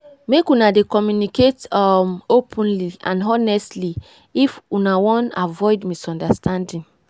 make una dey communicate um openly and honestly if una wan avoid misunderstanding.